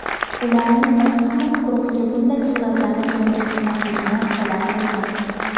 Ularning bir qismi guruhga bunday suratlarni joylashtirmaslikni talab qilgan.